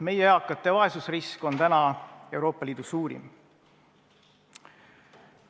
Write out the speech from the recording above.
Meie eakate vaesusrisk on täna Euroopa Liidu suurim.